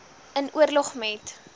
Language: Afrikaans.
in oorleg met